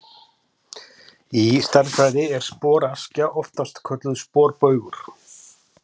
Í stærðfræði er sporaskja oftast kölluð sporbaugur.